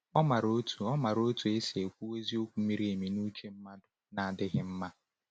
Ọ maara otu Ọ maara otu esi ekwu eziokwu miri emi n’uche mmadụ na-adịghị mma.